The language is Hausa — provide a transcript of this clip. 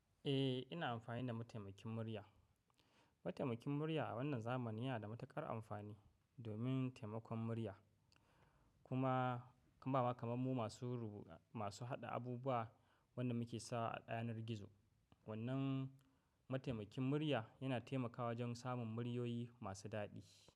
Eh, ina amfani da mataimakin murya. Mataimakin murya a wannan zamani yana da matuƙar amfani domin taimakon murya. Kuma in ba haka manmu masu rubu- masu haɗa abubuwa, wannan muke sawa a ɗayanar gizo. Wannan mataimakin murya yana taimakawa wajen samun muryoyi masu daɗi.